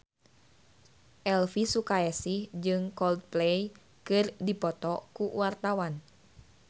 Elvy Sukaesih jeung Coldplay keur dipoto ku wartawan